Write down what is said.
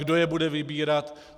Kdo je bude vybírat?